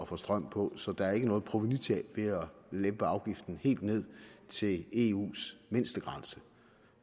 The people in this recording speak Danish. få strøm på så der er ikke noget provenutab ved at lempe afgiften helt ned til eus mindstegrænse